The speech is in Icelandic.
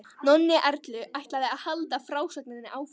Nonni Erlu ætlaði að halda frásögninni áfram.